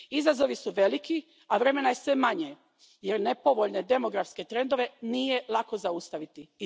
Izazovi su veliki, a vremena je sve manje jer nepovoljne demografske trendove nije lako zaustaviti.